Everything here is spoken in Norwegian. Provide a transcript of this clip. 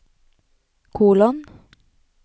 kolon